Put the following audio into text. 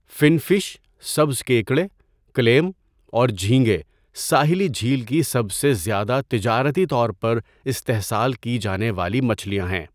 فن fish, سبز کیکڑے، clam اور جھینگے ساحلی جھیل کی سب سے زیادہ تجارتی طور پر استحصال کی جانے والی مچھلیاں ہیں۔